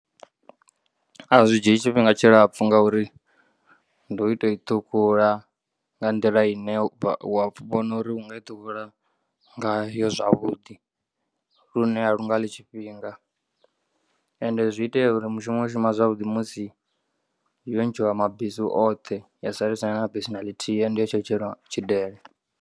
A zwi dzhii tshifhinga tshilapfu ngauri ndi u toi ṱhukhula nga nḓila ine wa vhona uri unga i ṱhukhula ngayo zwavhuḓi lune a lunga ḽi tshifhinga. Ende zwi itea uri mushumo u shuma zwavhuḓi musi yo ntshiwa mabesu oṱhe ya sala isina na besu na ḽithihi and yo tshetsheleliwa tshidele.